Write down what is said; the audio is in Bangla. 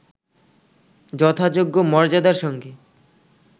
যথাযোগ্য মর্যাদার সঙ্গে